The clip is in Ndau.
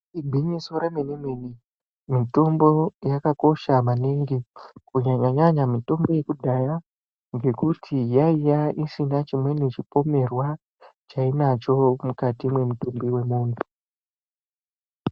Igwinyiso remene mene mitombo yakakosha maningi Kunyanyanyanya mitombo yekudhaya ngekuti yaiva isina chimweni chipomerwa chainocho mukati wemutumbu wemuntu.